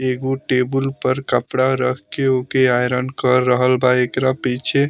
एगो टेबुल पर कपड़ा रखके ऊके आयरन कर रहल बा एकरा पीछे --